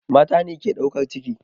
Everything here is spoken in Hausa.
Mata ne ke ɗaukar ciki.